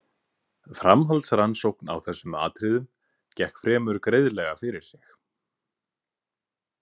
Framhaldsrannsókn á þessum atriðum gekk fremur greiðlega fyrir sig.